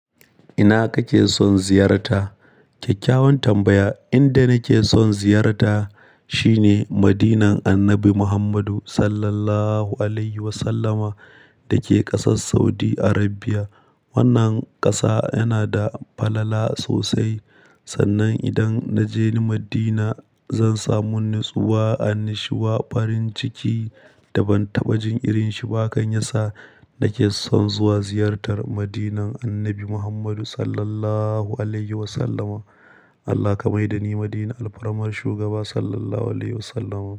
Ina kake son ziyarta? Kyakkyawan tambaya. Inda nake son ziyarta shine Madinan Annabi Muhammadu sallallahu alaihi wasallama da ke ƙasar Saudi Arabia. Wannan ƙasa yana da falala sosai. Sannan idan na je Madina, zan samu natsuwa, annashuwa, farin ciki da ban taɓajin irin shi ba kan yasa nake son zuwa ziyartar Madinan Annabi Muhammadu sallallahu alaihi wasallama. Allah ka mai da ni Madina alfarumar shugaba sallallahu alaihi wasallama.